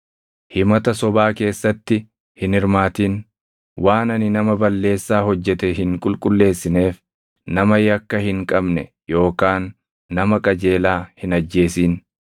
Himata sobaa keessatti hin hirmaatin; waan ani nama balleessaa hojjete hin qulqulleessineef nama yakka hin qabne yookaan nama qajeelaa hin ajjeesin.